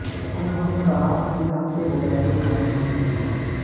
उन्होंने कहा कि राम के बगैर कोई काम नहीं हो सकता